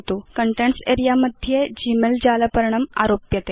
contents अरेऽ मध्ये Gmail जालपर्णम् आरोप्यते